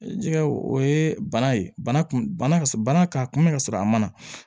Jɛgɛ o ye bana ye bana kun bana ka bana k'a kunbɛ ka sɔrɔ a ma na